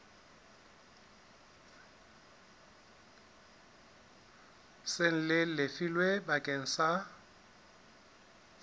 seng le lefilwe bakeng sa